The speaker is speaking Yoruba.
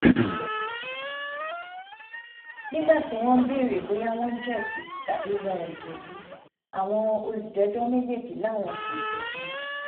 nígbà tí wọn béèrè bóyá wọn jẹbi tàbí wọn ò jẹbi àwọn olùjẹjọ méjèèjì làwọn kò jẹbi